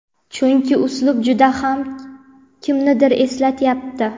chunki uslub juda ham kimnidir eslatyapti.